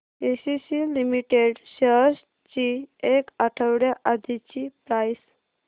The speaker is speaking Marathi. एसीसी लिमिटेड शेअर्स ची एक आठवड्या आधीची प्राइस